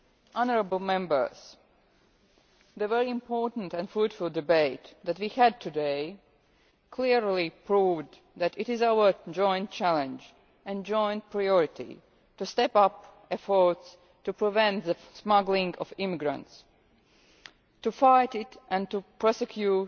Honourable Members, the very important and fruitful debate that we had today clearly proved that it is our joint challenge and joint priority to step up efforts to prevent the smuggling of immigrants, to fight it and to prosecute